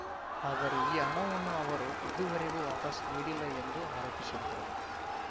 ಆದರೆ ಈ ಹಣವನ್ನು ಅವರು ಇದುವರೆಗೂ ವಾಪಸ್‌ ನೀಡಿಲ್ಲ ಎಂದು ಆರೋಪಿಸಿದ್ದರು